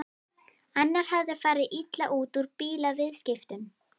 Annar hafði farið illa út úr bílaviðskiptum.